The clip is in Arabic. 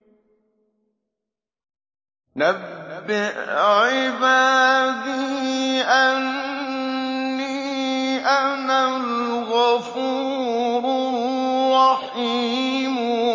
۞ نَبِّئْ عِبَادِي أَنِّي أَنَا الْغَفُورُ الرَّحِيمُ